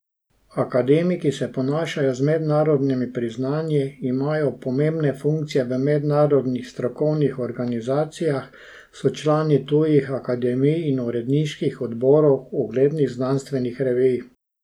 Akademiki se ponašajo z mednarodnimi priznanji, imajo pomembne funkcije v mednarodnih strokovnih organizacijah, so člani tujih akademij in uredniških odborov uglednih znanstvenih revij.